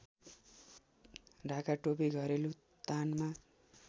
ढाकाटोपी घरेलु तानमा